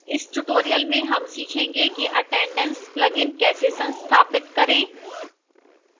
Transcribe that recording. इस tutorial में हम सीखेंगे कि attendance plugin कैसे संस्थापित करें